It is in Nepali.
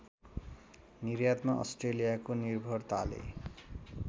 निर्यातमा अस्ट्रेलियाको निर्भरताले